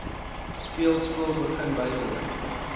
speelskool begin bywoon